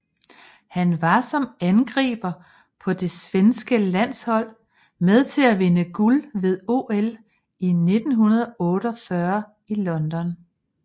Han var som angriber på det svenske landshold med til at vinde guld ved OL i 1948 i London